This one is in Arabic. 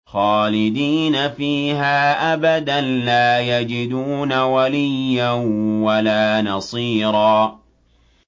خَالِدِينَ فِيهَا أَبَدًا ۖ لَّا يَجِدُونَ وَلِيًّا وَلَا نَصِيرًا